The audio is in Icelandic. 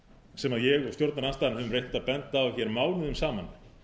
sem ég og stjórnarandstaðan höfum reynt að benda á hér mánuðum saman